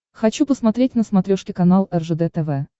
хочу посмотреть на смотрешке канал ржд тв